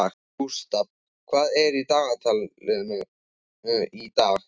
Gústaf, hvað er í dagatalinu í dag?